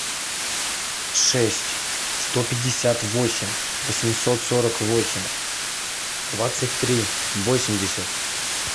шесть сто пятьдесят восемь восемьсот сорок восемь двадцать три восемьдесят